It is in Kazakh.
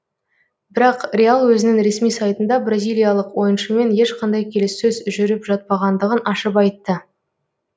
бірақ реал өзінің ресми сайтында бразилиялық ойыншымен ешқандай келіссөз жұріп жатпағандығын ашып айтты